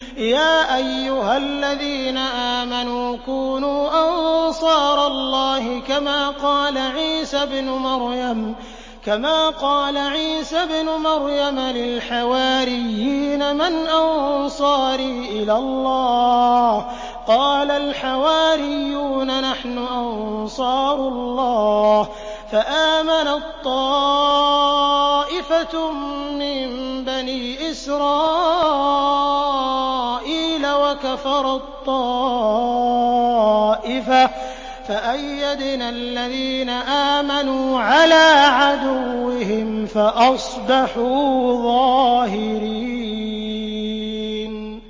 يَا أَيُّهَا الَّذِينَ آمَنُوا كُونُوا أَنصَارَ اللَّهِ كَمَا قَالَ عِيسَى ابْنُ مَرْيَمَ لِلْحَوَارِيِّينَ مَنْ أَنصَارِي إِلَى اللَّهِ ۖ قَالَ الْحَوَارِيُّونَ نَحْنُ أَنصَارُ اللَّهِ ۖ فَآمَنَت طَّائِفَةٌ مِّن بَنِي إِسْرَائِيلَ وَكَفَرَت طَّائِفَةٌ ۖ فَأَيَّدْنَا الَّذِينَ آمَنُوا عَلَىٰ عَدُوِّهِمْ فَأَصْبَحُوا ظَاهِرِينَ